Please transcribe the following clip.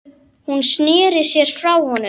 Hún sneri sér frá honum.